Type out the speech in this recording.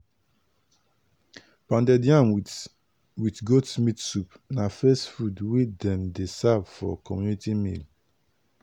pounded yam with with goat meat soup na first food wey dem dey serve for community meal.